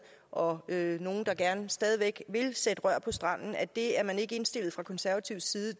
og at der er nogle der stadig væk vil sætte rør på stranden at det er man ikke indstillet fra konservativ side